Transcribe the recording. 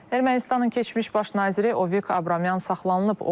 Ermənistanın keçmiş baş naziri Ovik Abramyan saxlanılıb.